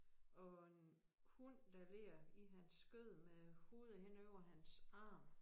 Og en hund der ligger i hans skød med hovedet hen over hans arm